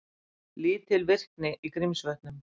Lítil virkni í Grímsvötnum